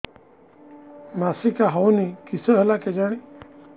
ମାସିକା ହଉନି କିଶ ହେଲା କେଜାଣି